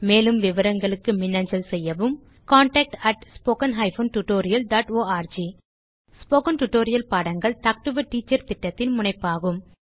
மேலும் விவரங்களுக்கு மின்னஞ்சல் செய்யவும் contactspoken tutorialorg ஸ்போகன் டுடோரியல் பாடங்கள் டாக் டு எ டீச்சர் திட்டத்தின் முனைப்பாகும்